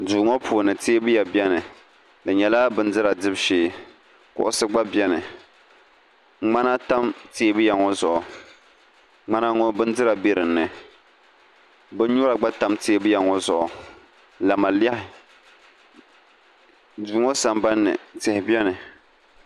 duu ŋɔ puuni teebuya beni di nyɛla bindira dibu shee kuɣisi gba beni ŋmana tam teebuya ŋɔ zuɣu ŋmana ŋɔ bindira be dinni binyuara gba tam teebuya ŋɔ zuɣu lamalehi duu ŋɔ sambani ni tihi beni